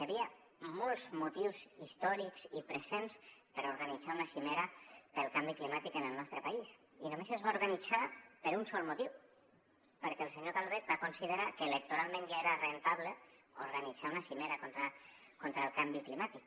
hi havia molts motius històrics i presents per organitzar una cimera pel canvi climàtic en el nostre país i només es va organitzar per un sol motiu perquè el senyor calvet va considerar que electoralment ja era rendible organitzar una cimera contra el canvi climàtic